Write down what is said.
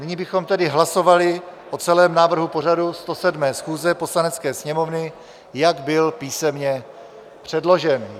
Nyní bychom tedy hlasovali o celém návrhu pořadu 107. schůze Poslanecké sněmovny, jak byl písemně předložen.